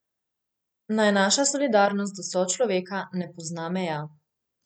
Naj naša solidarnost do sočloveka ne pozna meja.